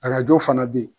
Arajo fana bɛ ye